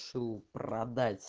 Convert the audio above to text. шоу про